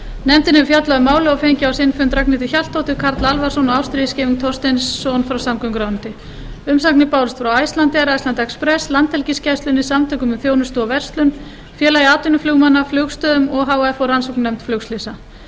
nefndin hefur fjallað um málið og fengið á sinn fund ragnhildi hjaltadóttur karl alvarsson og ástríði scheving thorsteinsson frá samgönguráðuneyti umsagnir bárust frá icelandair iceland express landhelgisgæslunni samtökum um þjónustu og verslun félagi atvinnuflugmanna flugstoðum o h f og rannsóknarnefnd flugslysa frumvarpið